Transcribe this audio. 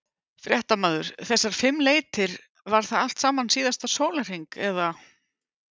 Fréttamaður: Þessar fimm leitir, var það allt saman síðasta sólarhring eða?